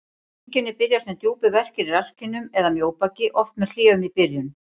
Einkenni byrja sem djúpir verkir í rasskinnum eða mjóbaki, oft með hléum í byrjun.